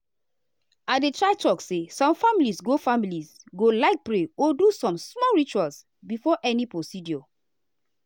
i dey try talk say some families go families go like pray or do some small ritual before any procedure.